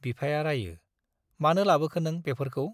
बिफाया रायो, मानो लाबोखो नों बेफोरखौ ?